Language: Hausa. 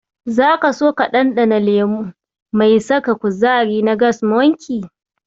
Zaka so ka ɗanɗana lemo mai saka kuzari na Gas Monkey?